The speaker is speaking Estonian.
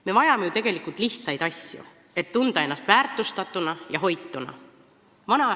Me vajame ju tegelikult lihtsaid asju, et tunda ennast väärtustatuna ja hoituna.